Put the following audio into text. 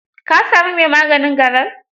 ka sami mai maganin garar?